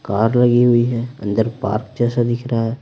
Car लगी हुई है अंदर पार्क जैसा दिख रहा है।